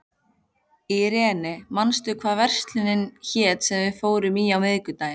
Irene, manstu hvað verslunin hét sem við fórum í á miðvikudaginn?